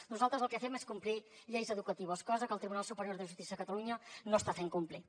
nosaltres el que fem és complir lleis educatives cosa que el tribunal superior de justícia de catalunya no està fent complir